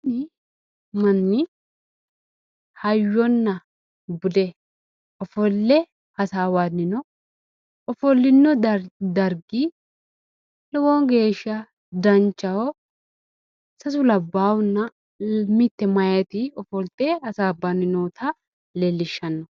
kuni manni hayyonna bude ofolle hasaawanni no ofollino dargi lowo geeshsha danchaho sasu labbaahunna mitte meyaati ofolte hasaabbanni noota leellishshanno.